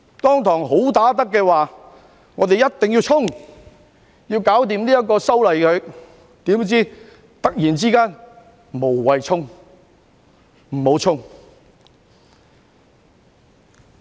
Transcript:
當時，"好打得"的那人說我們一定要衝刺，要完成修例，怎料突然之間卻說"無謂衝、不要衝"。